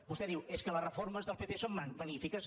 vostè diu és que les reformes del pp són magnífiques